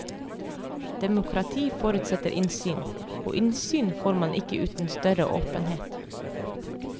Demokrati forutsetter innsyn, og innsyn får man ikke uten større åpenhet.